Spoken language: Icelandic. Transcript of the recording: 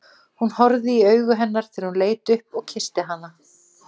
Hún horfði í augu hennar þegar hún leit upp og kyssti hana.